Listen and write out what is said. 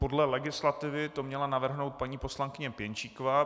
Podle legislativy to měla navrhnout paní poslankyně Pěnčíková.